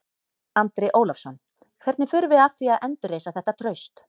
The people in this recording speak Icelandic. Andri Ólafsson: Hvernig förum við að því að endurreisa þetta traust?